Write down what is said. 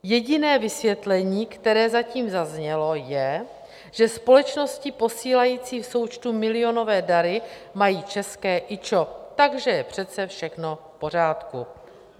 Jediné vysvětlení, které zatím zaznělo, je, že společnosti posílající v součtu milionové dary mají české IČO, takže je přece všechno v pořádku.